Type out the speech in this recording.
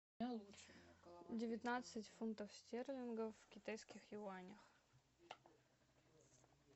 девятнадцать фунтов стерлингов в китайских юанях